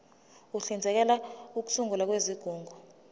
uhlinzekela ukusungulwa kwezigungu